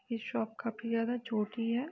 ये शॉप काफी ज्यादा छोटी है।